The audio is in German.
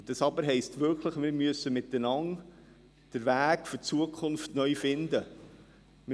Das Aber heisst wirklich, dass wir miteinander den Weg für die Zukunft neu finden müssen.